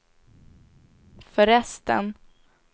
förresten